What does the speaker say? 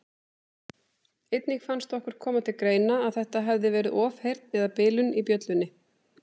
Einnig fannst okkur koma til greina að þetta hefði verið ofheyrn eða bilun í bjöllunni.